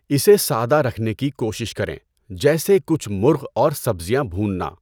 اسے سادہ رکھنے کی کوشش کریں، جیسے کچھ مرغ اور سبزیاں بھوننا۔